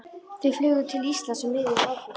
Þau flugu til Íslands um miðjan ágúst.